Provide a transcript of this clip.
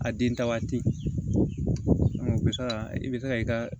A den ta waati o bɛ se ka i bɛ se ka i ka